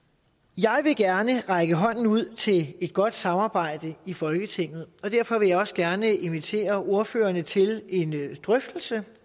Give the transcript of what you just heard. jeg vil gerne række hånden ud til et godt samarbejde i folketinget og derfor vil jeg også gerne invitere ordførerne til en drøftelse